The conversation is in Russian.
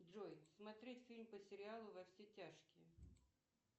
джой смотреть фильм по сериалу во все тяжкие